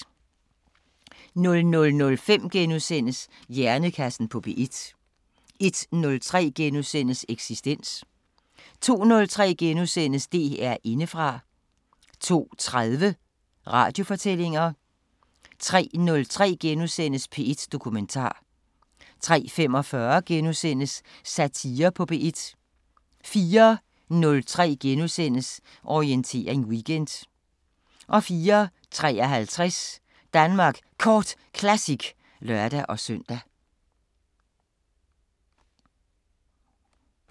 00:05: Hjernekassen på P1 * 01:03: Eksistens * 02:03: DR Indefra * 02:30: Radiofortællinger 03:03: P1 Dokumentar * 03:45: Satire på P1 * 04:03: Orientering Weekend * 04:53: Danmark Kort Classic (lør-søn)